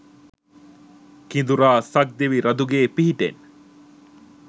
කිඳුරා සක් දෙවි රඳුගේ පිහිටෙන්